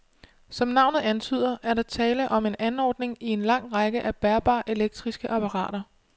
Som navnet antyder, er der tale om en anordning i en lang række af bærbare elektriske apparater.